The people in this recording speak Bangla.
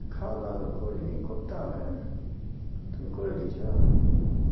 খাওয়া দাওয়া তো করি নি করতে হবে তুমি করে লিছ